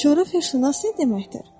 Bəs coğrafiyaşünas nə deməkdir?